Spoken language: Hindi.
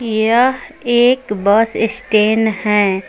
यह एक बस स्टैंड हैं।